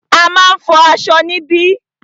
A máà ń fọ aṣọ níbí.